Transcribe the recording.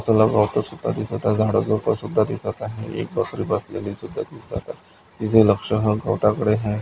गवत सुद्धा दिसत आहे. झाडे झुडप सुद्धा दिसत आहे. एक बकरी बसलेली सुद्धा दिसत आहे. तिच लक्ष हा गवता कडे आहे.